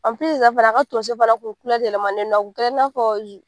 yɛrɛ fana a ka tonso fana kun yɛlɛmannen don. A kun kɛra i n'a fɔ